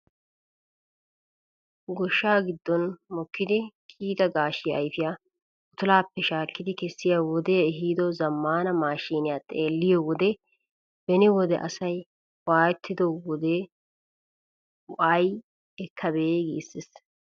Gooshshaa giddon mokkidi kiyida gaashshiyaa ayfiyaa uttulaappe shakkidi kesiyaa wodee ehido zammaana maashiniyaa xeelliyoo wode beni wode asay waayettido waayee ayi ekkabee giisses!